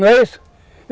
Não é isso?